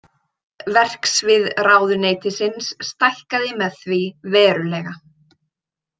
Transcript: Verksvið ráðuneytisins stækkaði með því verulega.